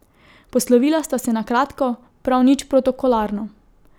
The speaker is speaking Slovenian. Poslovila sta se na kratko, prav nič protokolarno.